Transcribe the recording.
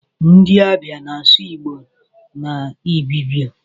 Ndi abia na asụ igbo na ibibio.